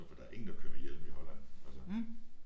For der er ingen der kører med hjelm i Holland altså